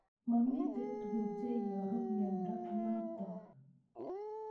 Mamito tuguk che iooaru miondo notok